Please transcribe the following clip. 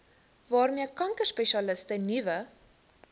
waarmee kankerspesialiste nuwe